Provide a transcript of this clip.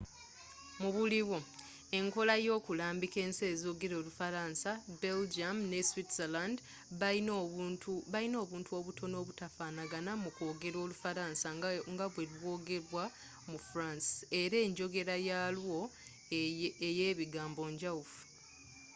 mubuliwo enkola eyo kulambiika ensi ezogela olufalansa belgium ne switzerland bayina obuntu obutono obutafanaga mu kw’ogera olufalasa nga bwe lw’ogerebwa mu france, era nenjogera yalwo eye biganbo njawufu